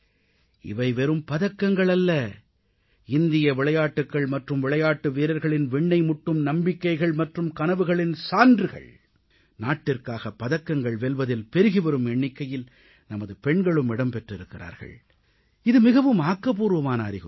இவை வெறும் பதக்கங்கள் அல்ல இந்திய விளையாட்டுகள் மற்றும் விளையாட்டு வீரர்களின் விண்ணை முட்டும் நம்பிக்கைகள் மற்றும் கனவுகளின் சான்றுகள் நாட்டிற்காக பதக்கங்கள் வெல்வதில் பெருகிவரும் எண்ணிக்கையில் நமது பெண்களும் இடம் பெற்றிருக்கிறார்கள் இது மிகவும் ஆக்கப்பூர்வமான அறிகுறி